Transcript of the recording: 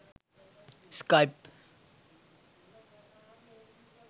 skype